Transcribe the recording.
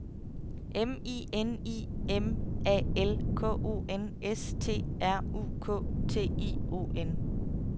M I N I M A L K O N S T R U K T I O N